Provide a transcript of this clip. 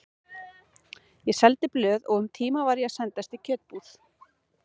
Ég seldi blöð og um tíma var ég að sendast í kjötbúð.